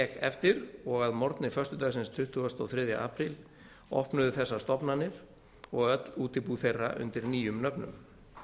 eftir og að morgni föstudagsins tuttugasta og þriðja apríl opnuðu þessar stofnanir og öll útibú þeirra undir nýjum nöfnum